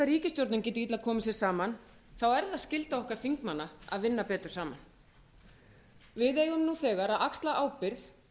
ríkisstjórnin geti illa komið sér saman er það skylda okkar þingmanna að vinna betur saman við eigum nú þegar að axla ábyrgð